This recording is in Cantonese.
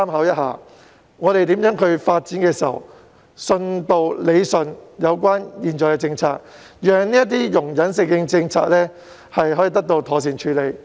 我們在探討如何發展的同時，亦應更新並理順現行的政策，讓容忍性政策得以妥善執行。